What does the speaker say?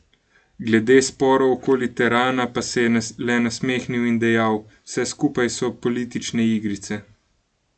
Glede sporov okoli terana pa se je le nasmehnil in dejal: "Vse skupaj so politične igrice.